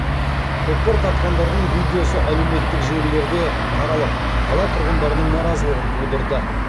көкпар тартқандардың видеосы әлеуметтік желілерде таралып қала тұрғындарының наразылығын тудырды